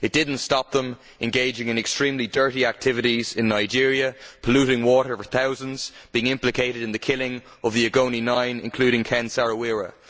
It did not stop them engaging in extremely dirty activities in Nigeria, polluting water for thousands, being implicated in the killing of the Ogoni Nine, including Ken Saro Wiwa.